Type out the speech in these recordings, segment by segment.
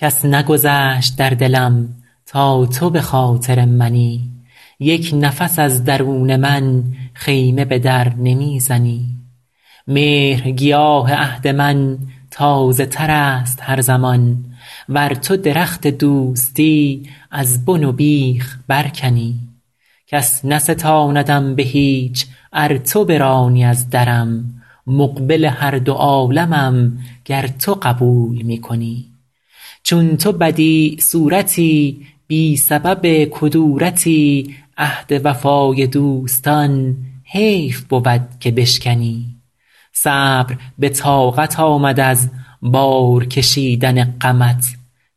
کس نگذشت در دلم تا تو به خاطر منی یک نفس از درون من خیمه به در نمی زنی مهرگیاه عهد من تازه تر است هر زمان ور تو درخت دوستی از بن و بیخ برکنی کس نستاندم به هیچ ار تو برانی از درم مقبل هر دو عالمم گر تو قبول می کنی چون تو بدیع صورتی بی سبب کدورتی عهد وفای دوستان حیف بود که بشکنی صبر به طاقت آمد از بار کشیدن غمت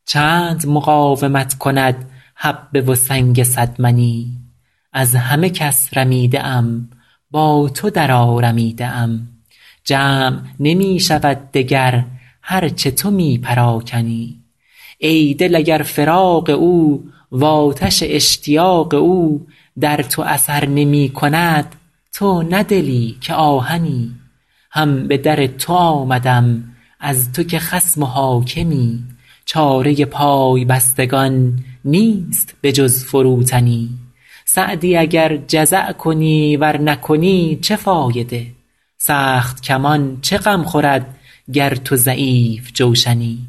چند مقاومت کند حبه و سنگ صد منی از همه کس رمیده ام با تو درآرمیده ام جمع نمی شود دگر هر چه تو می پراکنی ای دل اگر فراق او وآتش اشتیاق او در تو اثر نمی کند تو نه دلی که آهنی هم به در تو آمدم از تو که خصم و حاکمی چاره پای بستگان نیست به جز فروتنی سعدی اگر جزع کنی ور نکنی چه فایده سخت کمان چه غم خورد گر تو ضعیف جوشنی